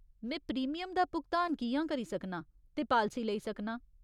में प्रीमियम दा भुगतान कि'यां करी सकनां ते पालसी लेई सकनां?